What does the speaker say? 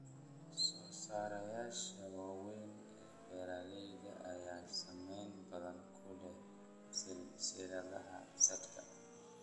Soosaarayaasha waaweyn ee beeralayda ayaa saameyn badan ku leh silsiladaha saadka.